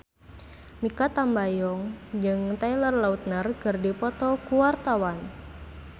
Mikha Tambayong jeung Taylor Lautner keur dipoto ku wartawan